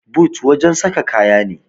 but wajen saka kaya ne